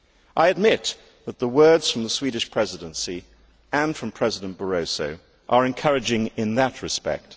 I admit that the words from the Swedish Presidency and from President Barroso are encouraging in that respect.